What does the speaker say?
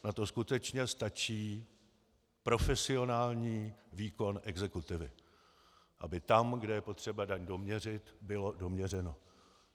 Na to skutečně stačí profesionální výkon exekutivy, aby tam, kde je potřeba daň doměřit, bylo doměřeno.